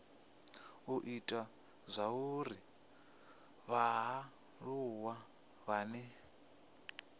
u ita zwauri vhaaluwa vhane